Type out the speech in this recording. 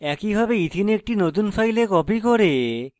একইভাবে ethene ethene একটি নতুন file copy করে